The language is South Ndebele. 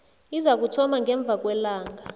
izakuthoma ngemva kwelanga